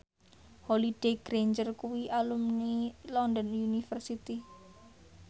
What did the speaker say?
Holliday Grainger kuwi alumni London University